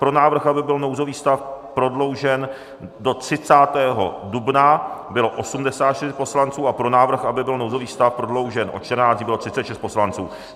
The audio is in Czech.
Pro návrh, aby byl nouzový stav prodloužen do 30. dubna, bylo 84 poslanců a pro návrh, aby byl nouzový stav prodloužen o 14 dní, bylo 36 poslanců.